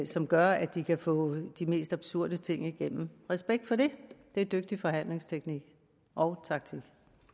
som gør at de kan få de mest absurde ting igennem respekt for det det er dygtig forhandlingsteknik og taktik